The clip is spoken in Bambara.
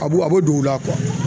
A b'u a bɛ don u la